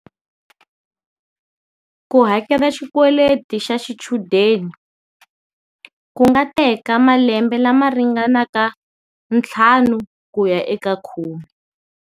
Ku hakela xikweleti xa xichudeni ku nga teka malembe lama ringanaka ntlhanu ku ya eka khume.